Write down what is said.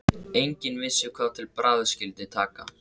Enginn vissi hvað til bragðs skyldi taka.